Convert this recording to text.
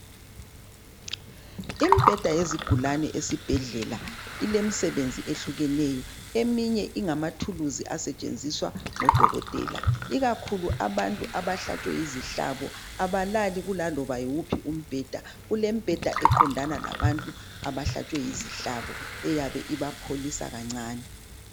Imbheda yezigulane esibhedlela ilemsebenzi ehlukeneyo. Eminye ingamathulusi asetshenziswa ngodokotela ikakhulu abantu abahlatshwe yizihlabo abalali kulaloba yiwuphi umbheda, kulembheda eqondana labantu abahlatshwe yizihlabo eyabe ibapholisa kancane.